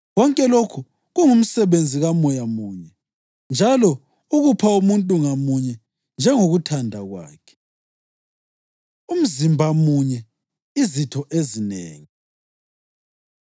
Konke lokhu kungumsebenzi kaMoya munye, njalo ukupha umuntu ngamunye, njengokuthanda kwakhe. Umzimba Munye, Izitho Ezinengi